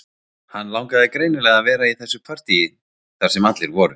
Hann langaði greinilega að vera í þessu partíi þar sem allir voru